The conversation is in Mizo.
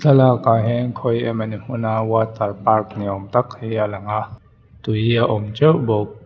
thlalakah hian khawi emawni hmun a water park ni awm tak hi a lang a tui a awm ṭeuh bawk.